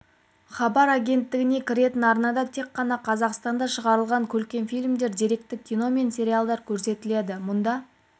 хабар агенттігіне кіретін арнада тек қана қазақстанда шығарылған көркем фильмдер деректі кино мен сериалдар көрсетіледі мұнда